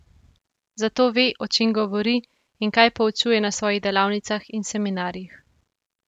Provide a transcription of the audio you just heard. Zato ve, o čem govori in kaj poučuje na svojih delavnicah in seminarjih.